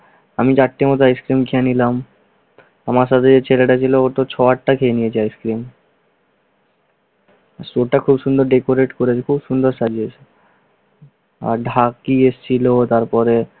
আমি চারটির মতো আইসক্রিম খেয়ে নিলাম। আমার সাথে যে ছেলেটা ছিল ওতো ছয়-আটটা খেয়ে নিয়েছে আইসক্রিম। show টা খুব সুন্দর করে decorate করেছে, খুব সুন্দর সাজিয়েছে। আর ঢাকি এসেছিল, তারপরে